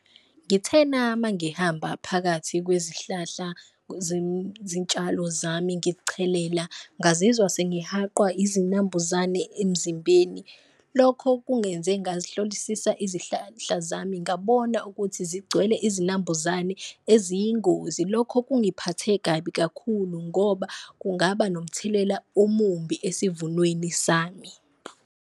Ngithena mangihamba phakathi kwezihlahla zitshalo zami ngichelela ngazizwa sengihaqwa izinambuzane emzimbeni, lokho kungenze ngazihlolisisa izihlahla zami ngabona ukuthi zigcwele izinambuzane eziyingozi. Lokho kungiphathe kabi kakhulu ngoba kungaba nomthelela omubi esivunweni sami.